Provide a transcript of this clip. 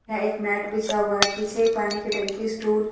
हां एक मैट बिछा हुआ है पीछे पानी की टंकी स्टूल --